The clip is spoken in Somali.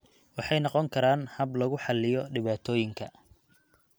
Waxay noqon karaan hab lagu xalliyo dhibaatooyinka.